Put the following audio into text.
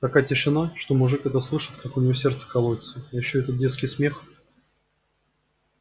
такая тишина что мужик это слышит как у него сердце колотится и ещё этот детский смех